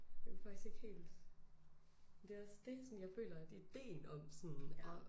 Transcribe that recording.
Jeg ved faktisk ikke helt. Men det også dét sådan jeg føler at ideén om sådan at